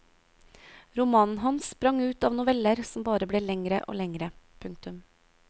Romanen hans sprang ut av noveller som bare ble lengre og lengre. punktum